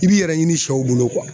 I b'i yɛrɛ ɲini sɛw bolo